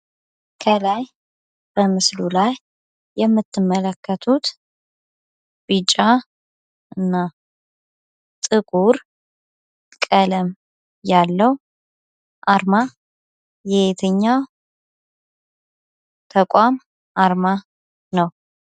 ከላይ በምስሉ ላይ የምትመልከቱት ቢጫ እና ጥቁር ቀለም ያለው አርማ የየትኛው ተቋም አርማ ነው።